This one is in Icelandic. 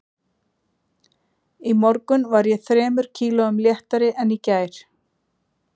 Í morgun var ég þremur kílóum léttari en í gær